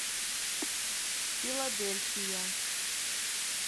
филадельфия